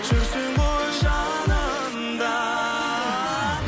жүрсең ғой жанымда